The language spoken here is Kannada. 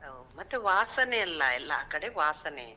ಹೌದ್, ಮತ್ತೆ ವಾಸನೆ ಅಲ್ಲ, ಎಲ್ಲಾ ಕಡೆ ವಾಸನೆಯೆ.